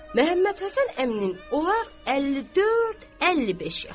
Məhəmmədhəsən əminin olar 54-55 yaşı.